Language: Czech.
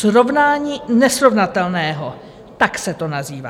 Srovnání nesrovnatelného, tak se to nazývá.